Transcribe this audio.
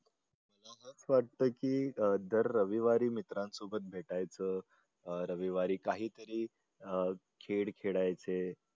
वाटतं की अह दर रविवारी मित्रांसोबत भेटायचं. अह रविवारी काहीतरी अह खेळ खेळायचे.